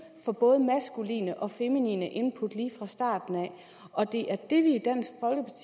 for både maskuline og feminine input lige fra starten af og det er det vi